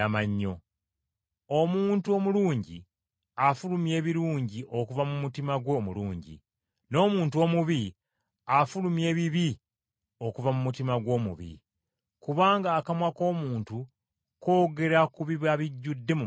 Omuntu omulungi afulumya ebirungi okuva mu mutima gwe omulungi, n’omuntu omubi afulumya ebibi okuva mu mutima gwe omubi. Kubanga akamwa koogera ku biba bijjudde mu mutima.”